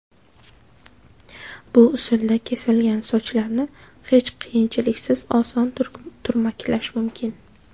Bu usulda kesilgan sochlarni hech qiyinchiliksiz oson turmaklash mumkin.